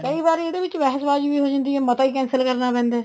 ਕਈ ਵਾਰੀ ਇਹਦੇ ਚ ਬਹਿਸ ਬਾਜੀ ਵੀ ਹੋ ਜਾਂਦੀ ਹੈ ਮਤਾ ਵੀ cancel ਕਰਨਾ ਪੈਂਦਾ ਹੈ